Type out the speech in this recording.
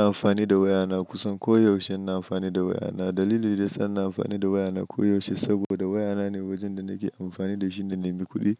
Ina amfani da waya na kusan koyaushe. Ina amfani da waya na. Dalili da sannan amfani da waya na koyaushe saboda waya na ne wajen da nake amfani da shi na nemi kuɗi.